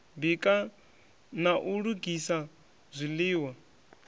bika na u lugisela zwiḽiwa